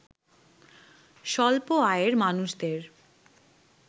স্বল্প আয়ের মানুষদের